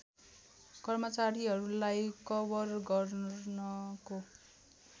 कर्मचारीहरूलाई कवर गर्नको